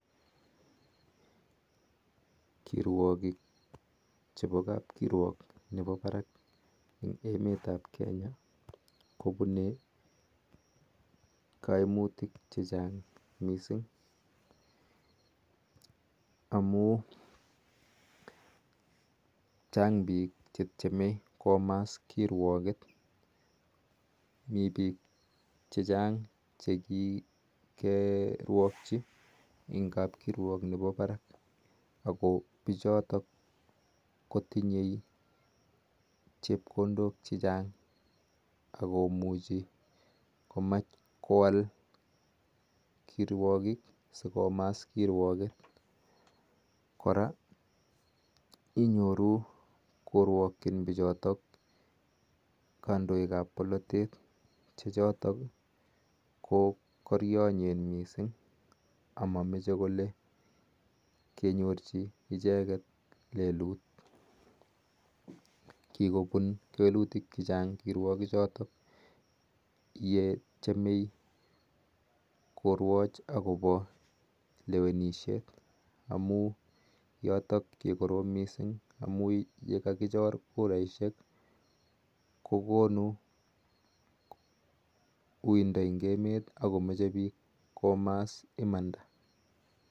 Kirwagiik chepo kapkirwaak chepo emet ap kenyaa kopunii aimutyeet neoo missing chaang piik chekikirwakchiii missing ak komas kirwageet kora inyoruu korwakchiin ppiik akolee mamache kenyorchii icheget lelut ako koroom missing amun konuu uindaa eng emet ako meche piik komaas imanda